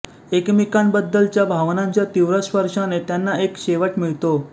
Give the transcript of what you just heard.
एकमेकांबद्दलच्या भावनांच्या तीव्र स्पर्शाने त्यांना एक शेवट मिळतो